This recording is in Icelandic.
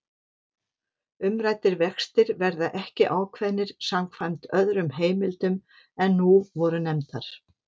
Umræddir vextir verða ekki ákveðnir samkvæmt öðrum heimildum en nú voru nefndar.